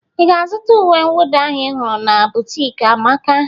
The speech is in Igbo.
I ga-azụta uwe nwụda ahụ ị hụrụ na bụtiki Amaka?